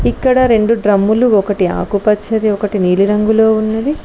ఇక్కడ రెండు డ్రమ్ములు ఒకటి ఆకుపచ్చది ఒకటి నీలిరంగులో ఉన్నది.